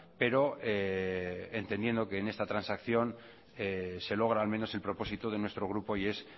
pero entendiendo que en esta transacción se logra al menos el propósito de nuestro grupo y es